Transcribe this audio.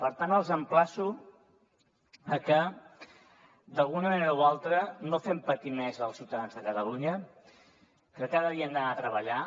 per tant els emplaço a que d’alguna manera o altra no fem patir més els ciutadans de catalunya que cada dia han d’anar a treballar